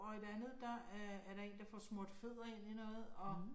Og et andet der er er der en, der får fødder smurt ind i noget og